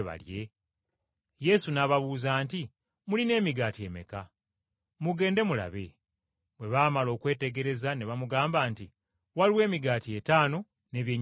Yesu n’ababuuza nti, “Mulina emigaati emeka? Mugende mulabe.” Bwe baamala okwetegereza ne bamugamba nti, “Waliwo emigaati etaano n’ebyennyanja bibiri.”